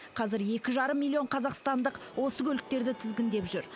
қазір екі жарым миллион қазақстандық осы көліктерді тізгіндеп жүр